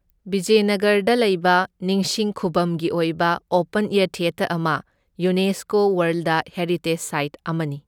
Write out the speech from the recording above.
ꯕꯤꯖꯌꯅꯒꯔꯗ ꯂꯩꯕ ꯅꯤꯡꯁꯤꯡ ꯈꯨꯚꯝꯒꯤ ꯑꯣꯏꯕ ꯑꯣꯄꯟ ꯑꯦꯌꯔ ꯊꯤꯌꯦꯇꯔ ꯑꯃ ꯌꯨꯅꯦꯁꯀꯣ ꯋꯥꯔꯜꯗ ꯍꯦꯔꯤꯇꯦꯖ ꯁꯥꯏꯠ ꯑꯃꯅꯤ꯫